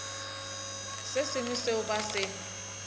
se sengwe seo ba se